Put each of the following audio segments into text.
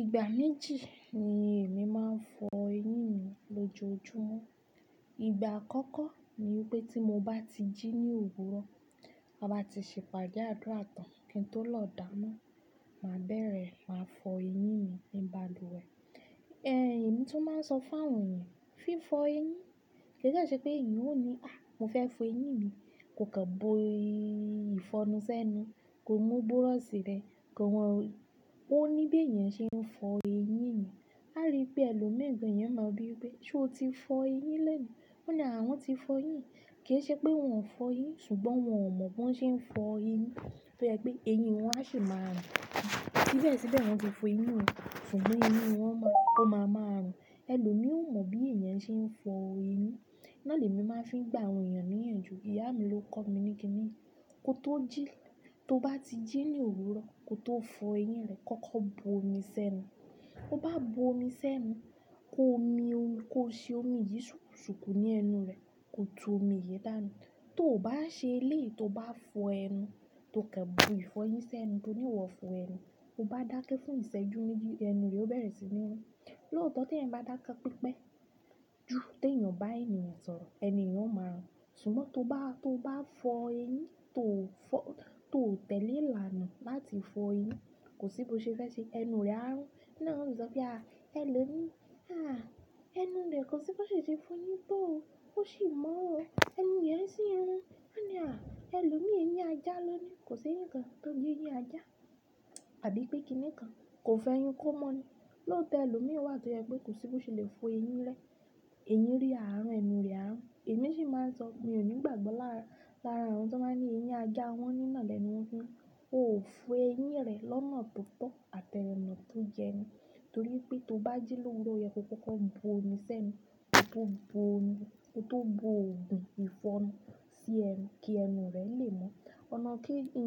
Ìgbà méjì ni èmi máa ń fọ eyín mi lójoojúmọ́. Ìgbà àkọ́kọ́ ni pé tí mo bá ti jí ní òwúrọ̀, ta bá ti ṣe ìpàdé àdúrà tàn kí n tó lọ dáná, màá bẹ̀rẹ̀ máa fọ eyín mi ní balùwẹ̀. Ẹ̀yin mo tún máa ń sọ fún àwọn èèyàn, fí fọ eyín. Kì í jẹ́ ṣẹ́ pé èèyàn ó ní, "À, mo fẹ́ fọ eyín mi." Ko kàn bo ìfọnu sẹ́nu, ko mú búrọ́ṣì rẹ̀, ko mọ oní bí èèyàn ṣe ń fọ eyín. A rí pé ẹlòmíràn gán èèyàn máa bí pé ṣé o ti fọ eyín léni? Wọ́n ni àwọn ti fọ eyín. Kì í ṣẹ́ pé wọ́n fọ eyín ṣùgbọ́n wọ́n mọ̀ bí wọ́n ṣe ń fọ eyín tó yẹ pé eyín wọn a sì máa rùn. Síbẹ̀ síbẹ̀ wọ́n ti fọ eyín yẹn ṣùgbọ́n eyín wọn ò máma rùn ẹlòmí ò mọ bí èyán ṣe n fọ eyín, ná l'ẹmi ma fi n gba àwọn eyan ní ìyànjú, ìyá mii ló kọ mi ní kíni yìí, ko tó jí, tó bá ti jí ní òwúrọ̀ ko tó fọ eyín rẹ kọ́kọ́ bu omi sí ẹnu. Ó bá bo omi sẹ́nu, kó omi, kó ṣe omi yìí ṣùkú ṣùkú ní ẹnu rẹ, kó ju omi yìí dànù. Tó bá ṣe lé è, tó bá fọ ẹnu, tó kàn bo ìfọ eyín sẹ́nu, tó ní wọ fọ ẹnu, ó bá dákẹ́ fún ìṣẹ́jú méjì ẹnu rẹ ó bẹ̀rẹ̀ sí ní rún. Lóòótọ́ tí ẹ̀yan bá dákẹ́ pípé ju tí èèyàn bá ènìyàn sọ̀rọ̀, ẹnu èèyàn ó máa rùn. Ṣùgbọ́n tó bá, tó bá fọ eyín, tó fọ, tó tẹ̀lé ìlànà láti fọ eyín, kò sí bó ṣe fẹ́ ṣe, ẹnu rẹ á rùn. Lẹ́na wọ́n sì sọ pé, "À, ẹlòmíì, à, ẹnu rẹ̀ kò sí bó ṣe ṣe fọ eyín tó òo. Ó sìi mọ̀ ọ́. Ẹnu èèyàn sì ń rùn." Wọ́n ni, "À, ẹlòmíì eyín ajá lọ ni. Kò sí ẹ̀yìn kan tó n jẹ eyín ajá tàbí pé kíni kan kò fọ ẹyín kó mọ́ ni." Lóòótọ́ ẹlòmíì wà tó yẹ pé kò sí bó ṣe lè fọ eyín rẹ. Eyín rí à á rùn, ẹnu rẹ á rùn. Èmi sì máa ń sọ, mi ò ní ìgbàgbọ́ lára, lára àwọn tó máa ń ní eyín ajá wọ́n ní nà lẹ̀nu wọn fi n rùn. Ó ò fọ eyín rẹ̀ lọ́nà tó tọ́ àtẹ́ ẹnu tó jẹnu. Nítorí pé tó bá jí lórúkọ yẹn kó kọ́kọ́ bu omi sẹ́nu, kó tó bu omi, kó tó bu òògùn ìfọnu sí ẹnu kí ẹnu rẹ lè mọ́. Ọ̀nà kejì,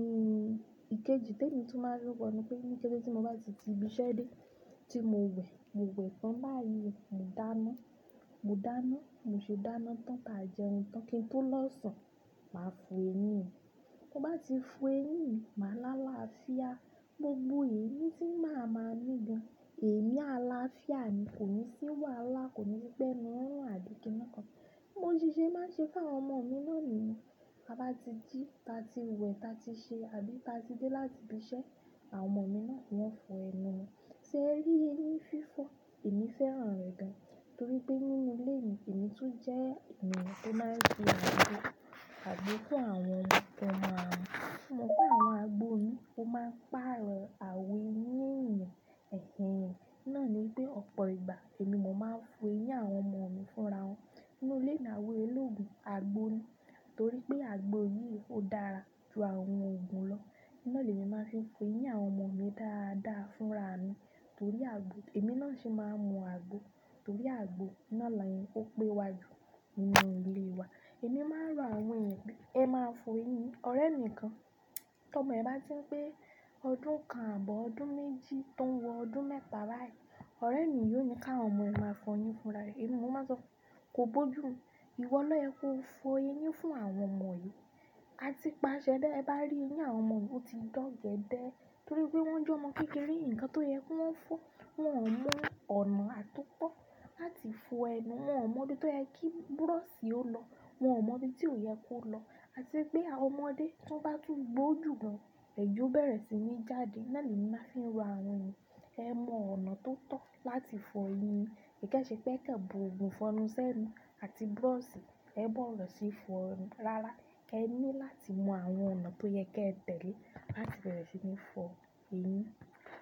ìkejì tí èmi tún máa ń rí wọ́nu pé ní kẹ́ṣẹ̀ tí mo bá ti ti ibi iṣẹ́ dé, tí mo wẹ̀, mo wẹ̀ tán báyìí, mo dáná, mo dáná, bí moṣe dáná tán táa jẹun tán kí n tó lọ̀ sùn, màá fọ eyín mi. Ti n bá ti fọ eyín mi, màá lá làáfíà. Gbogbo èémí tí màá máa mí gan-an, èémí àlàáfíà ni, kò ní sí wàhálà, kò ní p'ẹ́nuù ń rùn àbí kíni kan. Món ṣiṣẹ́ máa ń ṣe fún àwọn ọmọ mi náà niyẹn. Tabá ti jí, táa ti wẹ̀, táa ti ṣe àbí táa ti dé láti ibi iṣẹ́, àwọn ọmọ mi náà wọ́n fọ ẹnu wọn. Ṣé ẹ rí eyín fífọ̀, èmi fẹ́ràn rẹ̀ gan. Nítorí pé nínú ilé mi, èmi tún jẹ́ èèyàn tó máa ń fì àgbo àgbo fún àwọn ọmọ mi. Ṣùgbọ́n pé àwọn agbo mii, ó máa ń pàrọ̀ àwọ̀ eyín ẹ̀yàn, ẹ̀h ẹhn. Nọ ni pé ọ̀pọ̀ ìgbà èmi mọ̀ máa ń fọ eyín àwọn ọmọ mi fúnra wọn. Nínú ilé mi ni àwọ̀ e lógun agbo ni. Nítorí pé agbo yìí ó dára ju àwọn òògùn lọ. Oun náà l'èmi máa ń fi fọ eyín àwọn ọmọ mi dáadáa fúnra mi. Nítorí àgbo, èmi náà sì máa ń mu àgbo. Nítorí àgbo náà ni o pé wá jù nínú ilé wa. Èmi máa ń rọ àwọn èèyàn pé ẹ máa fọ eyín yín, ọ̀rẹ́ mi kan. Tí ọmọ ẹ bá ti ń pe ọdún kan ààbọ̀ ọdún méjì tó ń wọ ọdún mẹ́ta báyìí, ọ̀rẹ́ mi yóò ní ká àwọn ọmọ ẹ máa fọ eyín fúnra rẹ̀. Èmi mo máa sọ fún, kò bó jù mu, ìwọ lọ yẹ kó fọ eyín fún àwọn ọmọ yìí. A ti pàṣẹ dá ẹ bá rí eyín àwọn ọmọ o ti dọ̀gẹ́dẹ́ nítorí pé wọ́n jẹ́ ọmọ kékeré, nǹkan tó yẹ kó wọ́n fọ́, wọ́n ò mọ̀ ọ̀nà àtúkọ̀ láti fọ ẹnu wọn. Wọn ò mọ̀ bí tó yẹ kí búrọ́ṣì ó lọ. Wọn ò mọ̀ bí tí ó yẹ kó lọ. A tì pé àwọn ọmọdé tí wọ́n bá tún gbó jù gan-an, ẹ̀jẹ̀ ó bẹ̀rẹ̀ sí ní jáde. Náà ni èmi máa ń fi rọ àwọn èèyàn. Ẹ mọ ọ̀nà tó tọ́ láti fọ eyín. Kì í jẹ́ ṣẹ́ pé kàn bo òògùn ìfọnu sẹ́nu àti búrọ́ṣì, ẹ bọ̀wọ̀ sí fọ ẹnu rárá. Ẹ ní láti mọ àwọn ọ̀nà tó yẹ kí ẹ tẹ̀lé láti bẹ̀rẹ̀ sí ní fọ eyín.